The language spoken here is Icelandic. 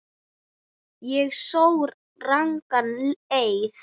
Ég sór rangan eið.